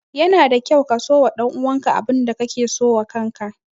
Yana da kyau ka so wa ɗan uwan ka abin da ka ke so wa kan ka.